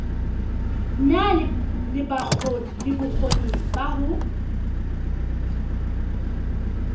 na le bokgoni ba ho